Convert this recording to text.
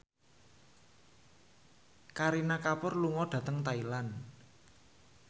Kareena Kapoor lunga dhateng Thailand